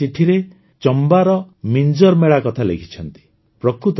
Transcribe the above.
ସେ ନିଜ ଚିଠିରେ ଚମ୍ବା ର ମିଞ୍ଜର୍ ମେଳା କଥା ଲେଖିଛନ୍ତି